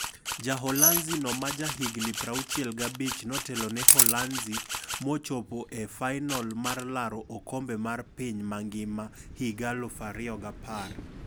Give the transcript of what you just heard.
Jaholanzi no maja higno 65, notelone Uholanzi mochopo e fainolmar laro okombe mar piny mangima higa 2010.